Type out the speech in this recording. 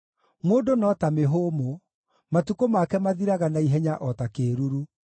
Mũndũ no ta mĩhũmũ; matukũ make mathiraga na ihenya o ta kĩĩruru.